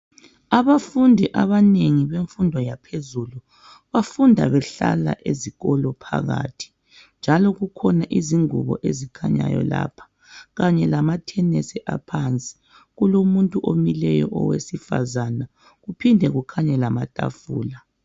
Abafundi abanengi bemfundo yaphezulu bafunda behlala esikolo phakathi njalo kukhona izingubo ezikhanyayo lapha Kanye lama thenisi aphansi kulomuntu omileyo owesifazana kuphinde kukhanye lama tafula